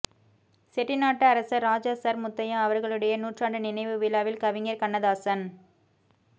செட்டிநாட்டு அரசர் ராஜா சர் முத்தையா அவர்களுடைய நூற்றாண்டு நினைவு விழாவில் கவிஞர் கண்ணதாசன்